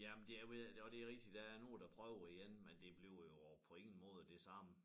Jamen det er ved og det rigtigt der er nogle der prøver igen men det bliver jo på ingen måde det samme